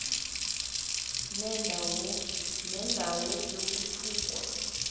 nenda wo yokuthukwa